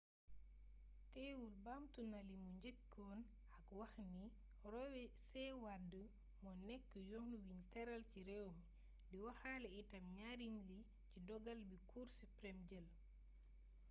teewul baamtu na limu njëkkoon a wax ni roe c. wade moo nekk «yoon wiñ tëral ci réew mi» di waxaale itam njariñ li ci dogal bi cour supreme jël